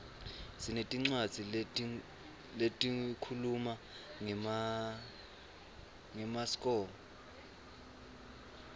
sinetincwadzi lehkhuluma ngemaskco